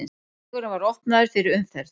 Vegurinn var opnaður fyrir umferð.